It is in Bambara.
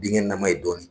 Binkɛnɛnaman ye dɔɔnin